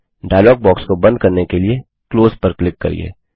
dialogue box को बंद करने के लिए क्लोज पर क्लिक करिये